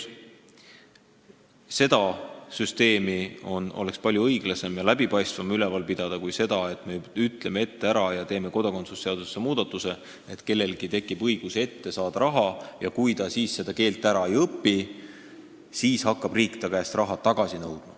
Sellist süsteemi oleks palju õiglasem ja läbipaistvam üleval pidada kui sellist skeemi, et me teeme kodakondsuse seadusesse muudatuse, mille järgi tekib kellelgi õigus ette raha saada ja kui ta keelt ära ei õpi, siis hakkab riik ta käest raha tagasi nõudma.